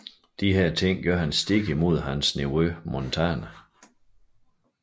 Disse ting gør ham stik modsat hans nevø Montana